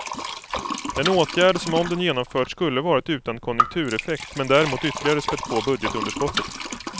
En åtgärd som om den genomförts skulle varit utan konjunktureffekt, men däremot ytterligare spätt på budgetunderskottet.